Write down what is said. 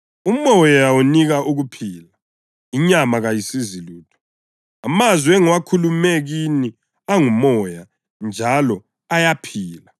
UMoya unika ukuphila; inyama kayisizi lutho. Amazwi engiwakhulume kini angumoya njalo ayikuphila.